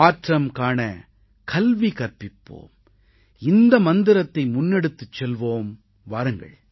மாற்றம் காணக் கல்வி கற்பிப்போம் இந்த மந்திரத்தை முன்னெடுத்துச் செல்வோம் வாருங்கள்